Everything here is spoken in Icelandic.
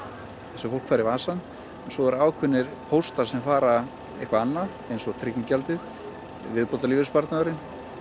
sem fólk fær í vasann svo eru ákveðnir póstar sem fara eitthvert annað eins og tryggingagjaldið viðbótarlífeyrissparnaður